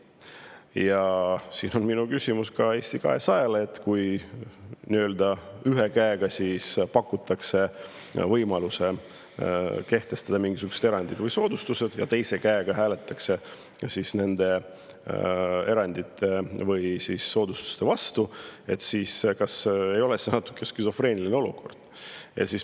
Ja nüüd on minu küsimus ka Eesti 200-le, et kui ühe käega pakutakse võimalust kehtestada mingisugused erandid või soodustused ja teise käega hääletatakse nende erandite või soodustuste vastu, siis kas ei ole see natuke skisofreeniline olukord.